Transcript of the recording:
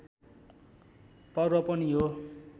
पर्व पनि हो